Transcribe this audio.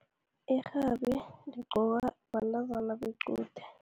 Irhabi ligqokwa bantazana bequde.